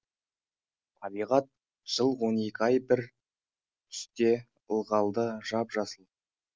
табиғат жыл он екі ай бір түсте ылғалды жап жасыл